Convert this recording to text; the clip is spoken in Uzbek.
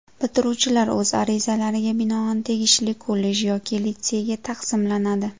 Bitiruvchilar o‘z arizalariga binoan tegishli kollej yoki litseyga taqsimlanadi.